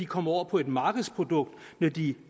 komme over på et markedsprodukt når de